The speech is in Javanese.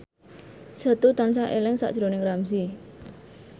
Setu tansah eling sakjroning Ramzy